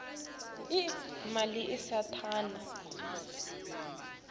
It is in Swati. emshweni lotakhele wona